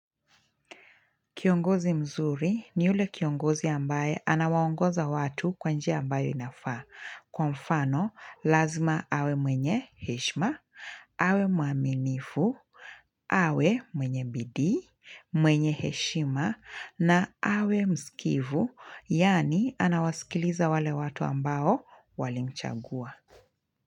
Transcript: Kiongozi mzuri ni ule kiongozi ambaye anawaongoza watu kwa njia ambayo inafaa, kwa mfano lazima awe mwenye heshima, awe mwaminifu, awe mwenye bidii, mwenye heshima na awe msikivu, yaani anawaskiliza wale watu ambao walimchagua.